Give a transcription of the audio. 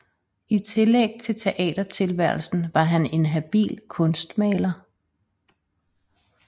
I tillæg til teatertilværelsen var han en habil kunstmaler